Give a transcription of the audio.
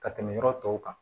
Ka tɛmɛ yɔrɔ tɔw kan